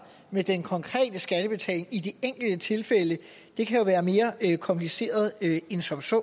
med den konkrete skattebetaling i de enkelte tilfælde kan jo være mere kompliceret end som så